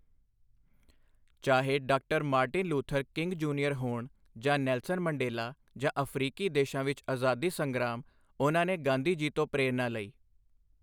ਚਾਹੇ doctor Martin Luther King Junior ਹੋਣ ਜਾਂ ਨੈਲਸਨ ਮੰਡੇਲਾ ਜਾਂ ਅਫ਼ਰੀਕੀ ਦੇਸ਼ਾਂ ਵਿੱਚ ਅਜ਼ਾਦੀ ਸੰਗਰਾਮ, ਉਨ੍ਹਾਂ ਨੇ ਗਾਂਧੀ ਜੀ ਤੋਂ ਪ੍ਰੇਰਨਾ ਲਈ।